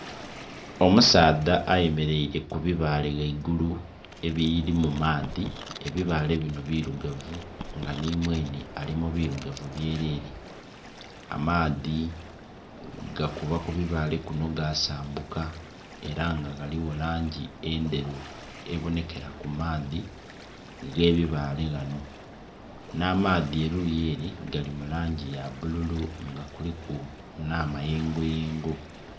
Omusaadha ayemereire ku bibale ghaigulu ebiri mu maadhi, ebibale binho birugavu nga nhi mwenhe ali mu birugavu byerere. Amaadhi gakuba ku bibale kunho ga saambuka era nga ghaligho langi endheru ebonhekera ku maadhi ghe bibale ghanho, nha maadhi eriyo ere gali mulangi ya bululu nga kuliku nha mayengo yengo.